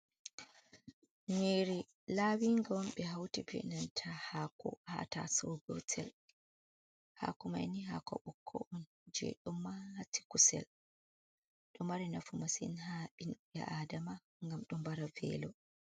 Nyiri lawinga on ɓe hauti be nanta haako haa taso gotel. Haako mai nii haako bokkon on, je ɗo mati kusel, ɗo mari nafu masin haa ɓinbe aadama, ngam ɗo nbara velo.